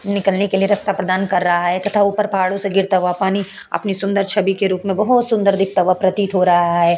निकलने के लिए रास्ता प्रदान कर रहा है तथा ऊपर पहाड़ो से गिरता हुआ पानी अपनी सुन्दर छबि के रूप में बोहुत सुन्दर दिखता हुआ प्रतीत हो रहा है।